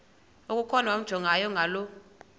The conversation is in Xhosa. okukhona wamjongay ngaloo